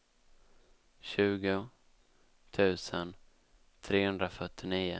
tjugo tusen trehundrafyrtionio